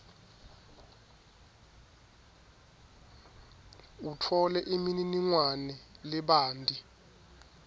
utfole imininingwane lebanti